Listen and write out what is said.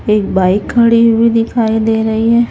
एक बाइक खड़ी हुई दिखाई दे रही है।